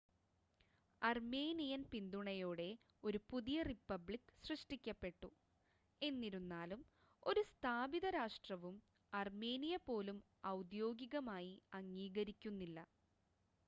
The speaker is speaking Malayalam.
അർമേനിയൻ പിന്തുണയോടെ ഒരു പുതിയ റിപ്പബ്ലിക് സൃഷ്ടിക്കപ്പെട്ടു എന്നിരുന്നാലും ഒരു സ്ഥാപിത രാഷ്ട്രവും അർമേനിയ പോലും ഔദ്യോഗികമായി അംഗീകരിക്കുന്നില്ല